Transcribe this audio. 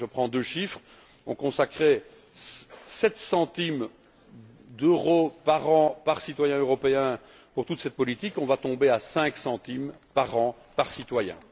Je prends deux chiffres on consacrait 7 centimes d'euro par an et par citoyen européen à toute cette politique, et on va tomber à 5 centimes par an et par citoyen.